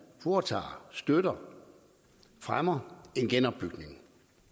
foretager støtter og fremmer en genopbygning